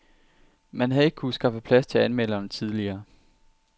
Man havde ikke kunnet skaffe plads til anmelderne tidligere.